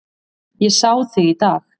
Ég sá þig í dag